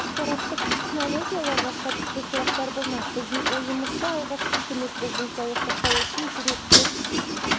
ақпараттық технологияларға қатысты сұрақтар болмақ біздің ойымызша алғашқы көмек бұл денсаулық сақтау үшін жүрек пен